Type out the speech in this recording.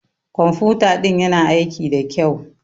Ƙwamfuta ɗin ƴana aiki ɗa ƙyau.